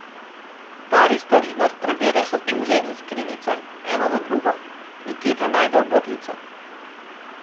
Stari starinar preverja šatulje in skrinjice, eno za drugo, nikjer ne najde ogrlice.